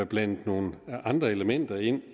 blandet nogle andre elementer ind